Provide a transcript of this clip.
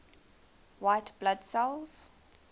white blood cells